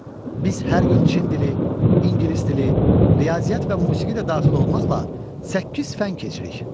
Biz hər gün Çin dili, İngilis dili, riyaziyyat və musiqi də daxil olmaqla səkkiz fənn keçirik.